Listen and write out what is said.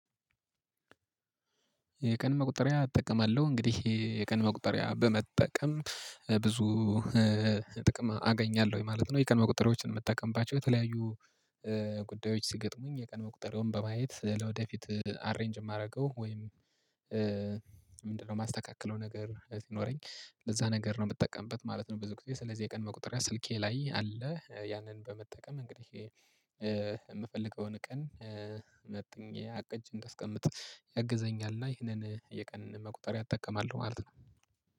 የቀን መቁጠሪያ እጠቀማለሁ እንግዲህ የቀን መቁጠሪያ በመጠቀም ብዙ ጥቅም አገኛለሁ ማለት ነው። የቀን መቁጠሪያዎችን የምትጠቀምባቸው የተለያዩ ጉዳዮች ሲገጥሙኝ የቀን መቁጠሪያውን በማየት ለወደፊት አሬንጅ የማደርገው ወይም ምንድነው? የማስተካክለው ነገር ይኖረኝ ለዛ ነገር ነው የምጠቀምበት ማለት ነው። ብዙ ጊዜ ስለዚህ የቀን መቁጠሪያ ስልኬ ላይ አለ። ያንን በመጠቀም እንግዲህ የምፈልገውን ቀን መጥኘ አቅጀ እንዳስቀምጥ ያግዘኛል። እና ይህንን የቀን መቁጠሪያ እጠቀማለሁ ማለት ነው